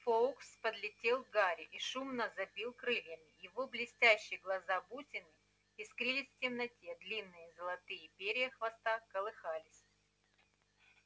фоукс подлетел к гарри и шумно забил крыльями его блестящие глаза-бусины искрились в темноте длинные золотые перья хвоста колыхались